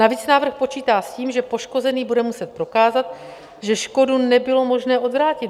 Navíc návrh počítá s tím, že poškozený bude muset prokázat, že škodu nebylo možné odvrátit.